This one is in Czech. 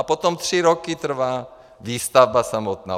A potom tři roky trvá výstavba samotná.